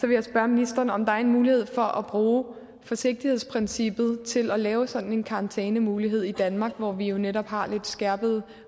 jeg spørge ministeren om der er en mulighed for at bruge forsigtighedsprincippet til at lave sådan en karantænemulighed i danmark hvor vi jo netop har lidt skærpede